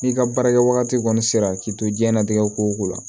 N'i ka baarakɛwagati kɔni sera k'i to diɲɛlatigɛ ko o ko la